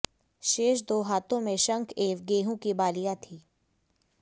शेष दो हाथों में शंख एवं गेहूं की बालियां थीं